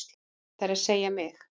Það er að segja mig.